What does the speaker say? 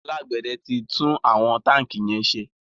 alágbède tí tún àwọn tanki yén ṣe